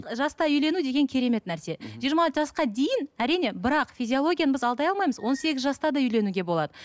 ы жастай үйлену деген керемет нәрсе жиырма жасқа дейін әрине бірақ физиологияны біз алдай алмаймыз он сегіз жаста да үйленуге болды